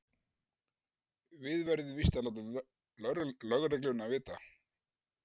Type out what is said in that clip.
Við verðum víst að láta lögregluna vita.